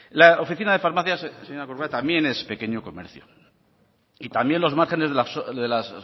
la oficina de farmacia señora corcuera también es pequeño comercio y también los márgenes de las